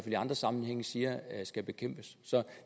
i andre sammenhænge siger skal bekæmpes så